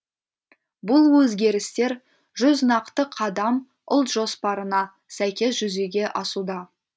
бұл өзгерістер жүз нақты қадам ұлт жоспарына сәйкес жүзеге асуда